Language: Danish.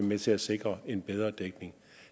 med til at sikre en bedre dækning